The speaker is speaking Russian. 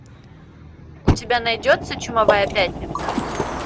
у тебя найдется чумовая пятница